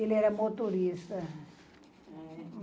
Ele era motorista.